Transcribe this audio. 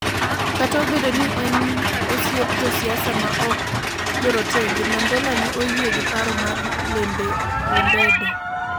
Kata obedo ni ne en osiep josiasa ma ok jorotenge, Mandela ne oyie gi paro mar Lembede,